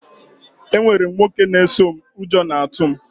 Enwere m nwoke a na-eso m, ụjọ na-atụ m